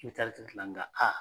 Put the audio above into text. I bɛ taa nga